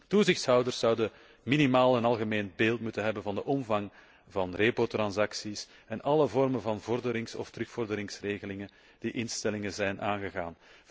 Toezichthouders zouden minimaal een algemeen beeld moeten hebben van de omvang van repo transacties en alle vormen van vorderings of terugvorderingsregelingen die instellingen zijn aangegaan.